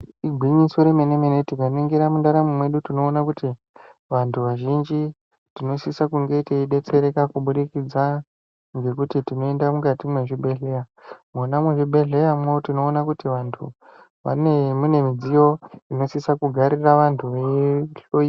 Igwinyiso remene mene tikaningira mundaramo medu tinoona kuti vantu vazhinji tinosise kunge teidetsereka kubudikidza ngekuti tinoenda mukati mezvibhedhlera . Mwona muzvibhedhleramwo tinoona kuti antu vane imweni midziyo inosisa kugarira antu veihloiwa.